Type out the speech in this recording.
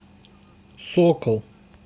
сокол